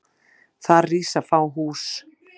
Þar rísa fá hús.